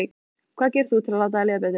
Hvað gerir þú til að láta þér líða betur?